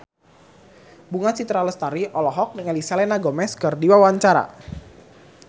Bunga Citra Lestari olohok ningali Selena Gomez keur diwawancara